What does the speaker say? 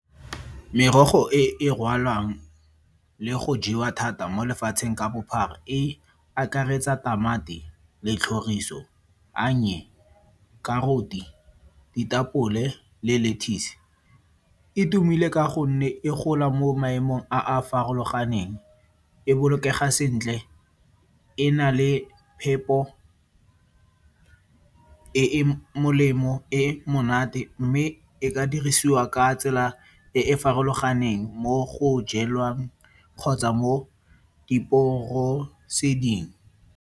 Merogo e e rwalwang le go jewa thata mo lefatsheng ka bophara e akaretsa tamati, letlhoriso, karoti, ditapole le lettuce, e tumile ka gonne e gola mo maemong a a farologaneng, e bolokega sentle, e na le phepo e e molemo, e e monate mme e ka dirisiwa ka tsela e e farologaneng mo go jelwang kgotsa mo diporoseding.